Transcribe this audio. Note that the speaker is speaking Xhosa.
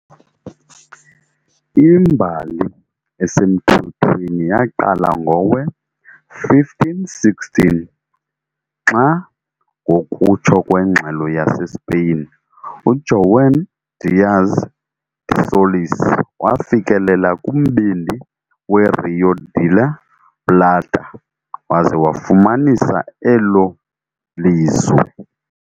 Imbali esemthethweni yaqala ngowe-1516 xa, ngokutsho kwengxelo yaseSpeyin, uJuan Díaz de Solís wafikelela kumbindi weRío de la Plata waza wafumanisa elo lizwe.